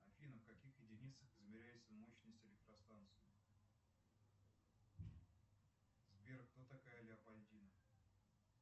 афина в каких единицах измеряется мощность электростанции сбер кто такая леопольдина